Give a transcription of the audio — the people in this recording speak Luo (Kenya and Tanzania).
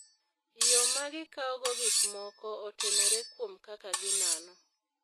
Yo ma gikawogo gik moko otenore kuom kaka ginano.